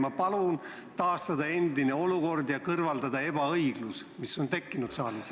Ma palun taastada endine olukord ja kõrvaldada ebaõiglus, mis on saalis tekkinud.